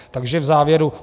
Takže v závěru.